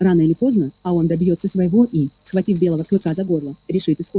рано или поздно а он добьётся своего и схватив белого клыка за горло решит исход